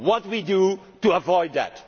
What do we do to avoid that?